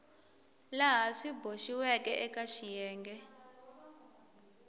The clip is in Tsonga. laha swi boxiweke eka xiyenge